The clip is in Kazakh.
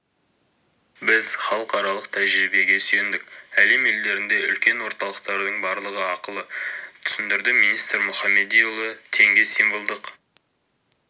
біз халықаралық тәжірибеге сүйендік әлем елдерінде үлкен орталықтардың барлығы ақылы түсіндірді министр мұхамедиұлы теңге символдық